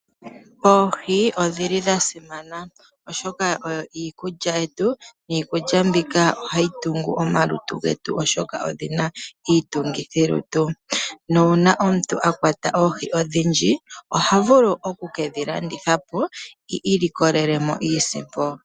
Oohi odhili dha simana oshoka oyo iikulya yetu niikulya mbika ohayi tungu omalutu getu oshoka odhina iitungithilutu. Nuuna omuntu a kwata oohi odhindji oha vulu oku kedhi landitha po i ilikolele mo iisimpo.